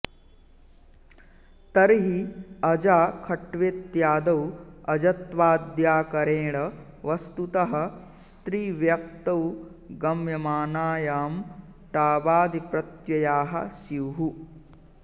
तर्हि अजा खट्वेत्यादौ अजत्वाद्याकरेण वस्तुतः स्त्रीव्यक्तौ गम्यमानायां टाबादिप्रत्ययाः स्युः